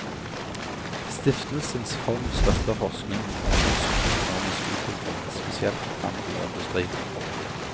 Stiftelsens fond støtter forskning om norsk økonomisk utvikling, spesielt handel og industri.